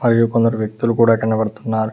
మరియు కొందరు వ్యక్తులు కూడా కనబడుతున్నారు.